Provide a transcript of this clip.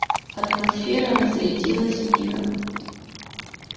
атмосфера разрядилась мигом